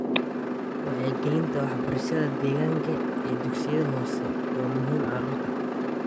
Wacyigelinta waxbarashada deegaanka ee dugsiyada hoose waa muhiim carruurta.